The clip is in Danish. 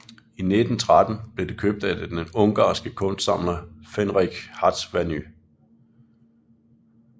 I 1913 blev det købt af den ungarske kunstsamler Ferenc Hatvany